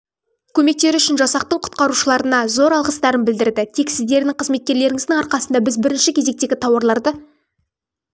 көмектері үшін жасақтың құтқарушыларына зор алғыстарын білдіреді тек сіздердің қызметкерлеріңіздің арқасында біз бірінші кезектегі тауарларды